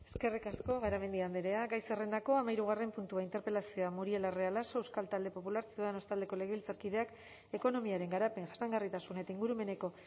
eskerrik asko garamendi andrea gai zerrendako hamahirugarren puntua interpelazioa muriel larrea laso euskal talde popular ciudadanos taldeko legebiltzarkideak ekonomiaren garapen jasangarritasun eta ingurumeneko